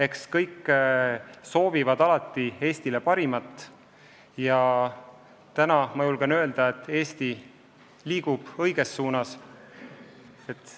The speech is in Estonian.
Eks kõik soovivad alati Eestile parimat ja täna ma julgen öelda, et Eesti liigub õiges suunas.